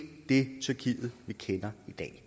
det tyrkiet vi kender